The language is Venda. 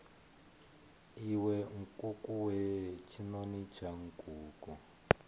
iwe nkukuwe tshinoni tsha nkuku